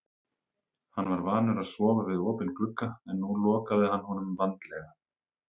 Hann var vanur að sofa við opinn glugga en nú lokaði hann honum vandlega.